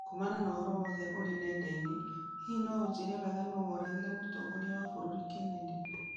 Kuumana na ũhoro wothe ũrĩ nenda-inĩ, hihi no ũnjĩĩre wega nũũ woragire mũtongoria wa bũrũri Kennedy